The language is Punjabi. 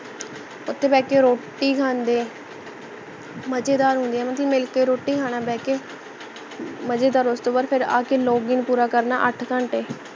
ਓਥੇ ਬਹਿ ਕੇ ਰੋਟੀ ਖਾਂਦੇ ਮਜੇਦਾਰ ਹੁੰਦੇ ਮਿਲਕੇ ਰੋਟੀ ਖਾਣਾ ਬਹਿਕੇ ਮਜੇਦਾਰ ਉਸ ਤੋਂ ਬਾਅਦ ਫੇਰ ਆਕੇ log in ਪੂਰਾ ਕਰਨਾ ਅੱਠ ਘੰਟੇ